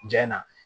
Ja in na